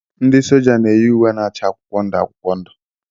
Ndị soja na eyi ùwé na-acha akwụkwọ ndụ akwụkwọ ndụ.